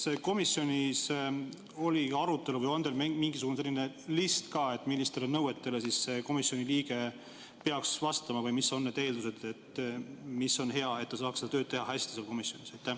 Kas komisjonis oli ka arutelu või on teil mingisugune selline list ka, millistele nõuetele see komisjoni liige peaks vastama või mis on need eeldused, mida oleks vaja, et ta saaks tööd teha hästi seal komisjonis?